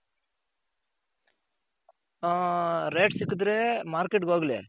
ಹಾ rate ಸಿಕದ್ರೆ Market ಗೆ ಹೋಗ್ಲಿ.